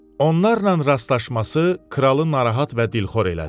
Onlarla rastlaşması kralı narahat və dilxor elədi.